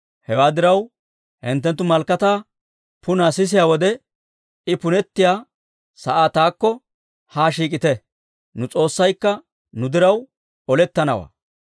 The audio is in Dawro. Hewaa diraw, hinttenttu malakataa punaa sisiyaa wode, I punettiyaa sa'aa taakko haa shiik'ite. Nu S'oossaykka nu diraw olettanawaa».